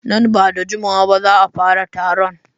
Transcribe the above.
Nan ba da jimawa ba za a fara taron.